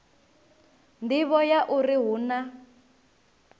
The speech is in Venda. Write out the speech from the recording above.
nḓivho ya uri hu na